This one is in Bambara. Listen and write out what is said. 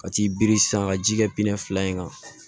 Ka t'i biri san ka ji kɛ fila in kan